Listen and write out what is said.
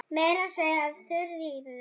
Meira að segja Þuríður